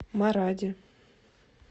маради